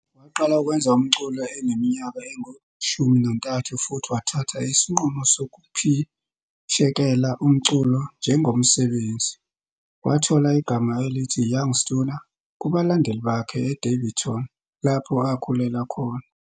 Waqala ukwenza umculo eneminyaka engu-13 futhi wathatha isinqumo sokuphishekela umculo njengomsebenzi. Wathola igama elithi Young Stunna kubalandeli bakhe eDaveyton lapho akhulela khona.